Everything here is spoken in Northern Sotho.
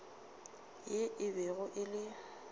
yo e bego e le